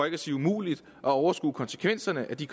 ikke at sige umuligt at overskue konsekvenserne af de